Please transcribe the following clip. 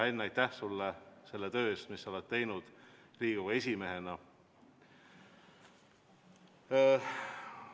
Henn, aitäh sulle selle töö eest, mis sa oled teinud Riigikogu esimehena!